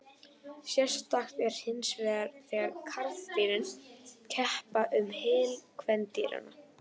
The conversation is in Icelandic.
Sérstakt er hinsvegar þegar karldýrin keppa um hylli kvendýranna.